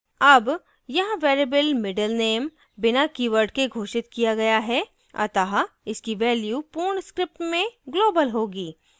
अब यहाँ variable middle _ name बिना कीवर्ड के घोषित किया गया है अतः इसकी value पूर्ण script में global होगी